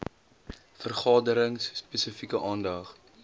vergaderings spesifieke aandag